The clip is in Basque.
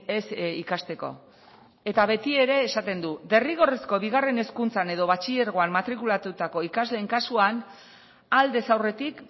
ez ikasteko eta betiere esaten du derrigorrezko bigarren hezkuntzan edo batxilergoan matrikulatutako ikasleen kasuan aldez aurretik